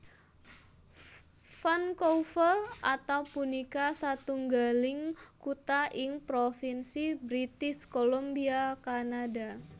Vancouver atau punika satunggaling kutha ing Propinsi British Columbia Kanada